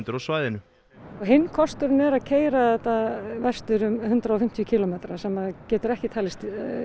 á svæðinu hinn kosturinn er að keyra þetta vestur um hundrað og fimmtíu kílómetra sem getur ekki talist